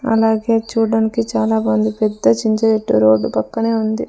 అలాగే చూడ్డానికి చాలా బాగుంది పెద్ద చింత చెట్టు రోడ్డు పక్కనే ఉంది.